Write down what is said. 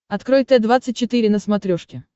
открой т двадцать четыре на смотрешке